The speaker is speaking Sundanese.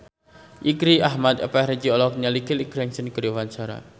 Irgi Ahmad Fahrezi olohok ningali Kelly Clarkson keur diwawancara